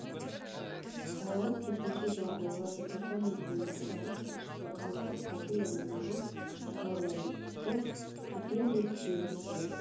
қалалық төтенше жағдайлар департаментінің баспасөз хатшысы аягөз фазылова болған жағдайды түгелдей түсіндіріп берді